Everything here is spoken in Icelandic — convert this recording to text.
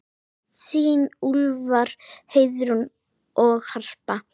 Þín Úlfar, Heiðrún og Harpa.